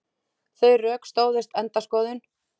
Þau rök stóðust enda skoðun.